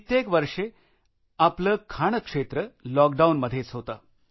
कित्येक वर्षे आपले खाणक्षेत्र लॉकडाऊनमध्येच होते